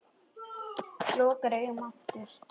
Lokar augunum aftur.